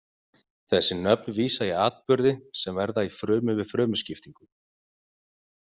Þessi nöfn vísa í atburði sem verða í frumu við frumuskiptingu.